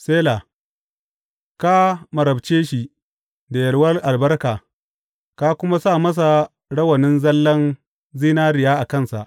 Sela Ka marabce shi da yalwar albarka ka kuma sa masa rawanin zallan zinariya a kansa.